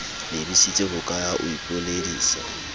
lebisitse hokae ha o ipoledisa